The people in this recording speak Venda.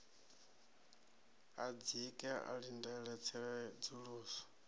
a dzike a ḽindele tsedzuluso